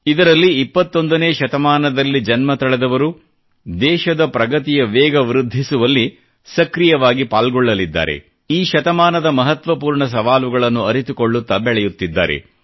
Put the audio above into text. ಇದರಲ್ಲಿ 21 ನೇ ಶತಮಾನದಲ್ಲಿ ಜನ್ಮತಳೆದವರು ದೇಶದ ಪ್ರಗತಿಯ ವೇಗ ವೃದ್ಧಿಸುವಲ್ಲಿ ಸಕ್ರೀಯವಾಗಿ ಪಾಲ್ಗೊಳ್ಳಲಿದ್ದಾರೆ ಈ ಶತಮಾನದ ಮಹತ್ವಪೂರ್ಣ ಸವಾಲುಗಳನ್ನು ಅರಿತುಕೊಳ್ಳುತ್ತಾ ಬೆಳೆಯುತ್ತಿದ್ದಾರೆ